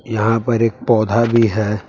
यहां पर एक पौधा भी है।